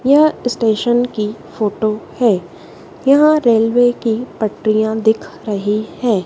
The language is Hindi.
यह स्टेशन की फोटो है यहां रेलवे की पटरियां दिख रही है।